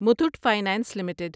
Muthoot finance limited